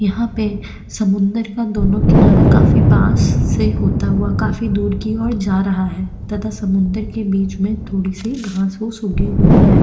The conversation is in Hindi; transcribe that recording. यहा पे समुन्द्र का दोनों किनारा काफी पास से होता हुआ काफी दूर की और जा रहा है तथा समुन्द्र के बीच में थोड़ी सी घास फुस उगी हुई है।